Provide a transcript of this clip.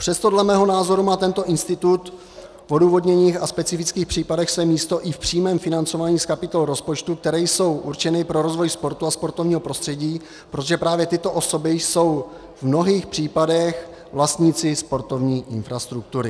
Přesto dle mého názoru má tento institut v odůvodněných a specifických případech své místo i v přímém financování z kapitol rozpočtu, které jsou určeny pro rozvoj sportu a sportovního prostředí, protože právě tyto osoby jsou v mnohých případech vlastníci sportovní infrastruktury.